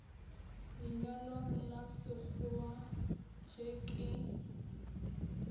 lenyalong la sekgowa ge ke